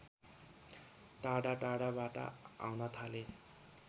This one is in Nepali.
टाढा टाढाबाट आउन थाले